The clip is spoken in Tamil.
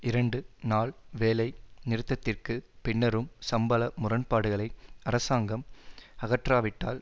இரண்டு நாள் வேலை நிறுத்தத்திற்குப் பின்னரும் சம்பள முரண்பாடுகளை அரசாங்கம் அகற்றாவிட்டால்